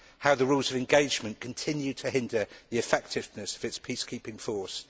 and how the rules of engagement continue to hinder the effectiveness of its peacekeeping force.